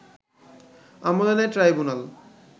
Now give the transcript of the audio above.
আমলে নেয় ট্রাইব্যুনাল